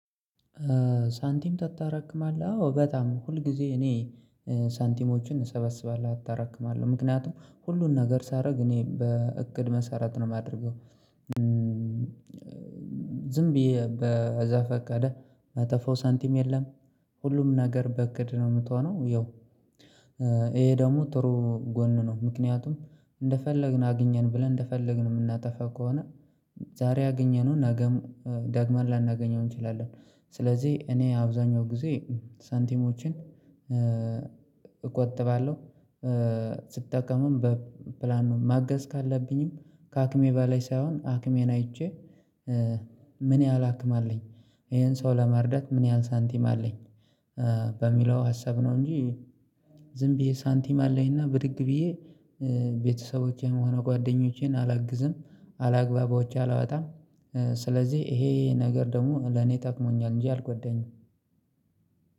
ሳንቲም ታጠረቅማለህ አዎ በጣም ሁል ጊዜ እኔ ሳንቲሞችን እሰበስባለሁ አታረቅማለሁ ምክንያቱም ሁሉን ነገር ሳደርግ እኔ በእቅድ መሰረት ነው የማደርገው። ዝም ብዬ በዛፈቀደ መጠፈው ሳንቲም የለም። ሁሉም ነገር በእቅድ ነው የምትሆነው ያው ይሄ ደግሞ ጥሩ ጎን ነው። ምክንያቱም እንደፈለግን አግኘን ብለን እንደፈለግን የምናጠፋ ከሆነ ዛሬ ያገኘነውን ነገም ዳግመን ላናገኘው እንችላለን። ስለዚህ እኔ አብዛኛው ጊዜ ሳንቲሞችን እቆጥባለሁ። ስጠቀምም በፕላን ነው ማገዝ ካለብኝም ከአክሜ ባለይ ሳይሆን አክሜን አይቼ ምን ያህል አክም አለኝ ይሄን ሰው ለመርዳት ምን ያህል ሳንቲም አለኝ በሚለው ሀሰብ ነው። እንጂ ዝም ብዬ ሳንቲም አለኝና ብድግ ብዬ ቤተሰቦቼን ሆነ ጓደኞቼን አላግዝም። አላግባብ ወጪ አላወጣም። ስለዚህ ይሄ ነገር ደግሞ ለኔ ጠቅሞኛል እንጂ አልጎዳኝም።